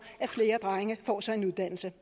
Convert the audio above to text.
at flere drenge får sig en uddannelse